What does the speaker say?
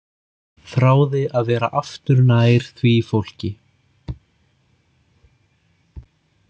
Þráði að vera aftur nær því fólki.